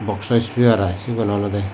box o speaker iy cibi olode.